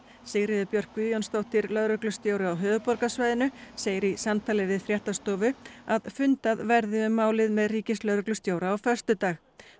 Sigríður Björk Guðjónsdóttir lögreglustjóri á höfuðborgarsvæðinu segir í samtali við fréttastofu að fundað verði um málið með ríkislögreglustjóra á föstudag